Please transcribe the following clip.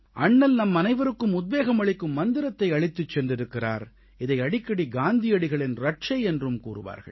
அண்ணல் நம்மனைவருக்கும் உத்வேகம் அளிக்கும் மந்திரத்தை அளித்துச் சென்றிருக்கிறார் இதை அடிக்கடி காந்தியடிகளின் இரட்சை என்றும் கூறுவார்கள்